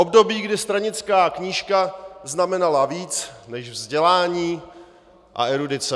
Období, kdy stranická knížka znamenala víc než vzdělání a erudice.